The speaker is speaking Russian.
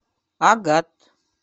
агат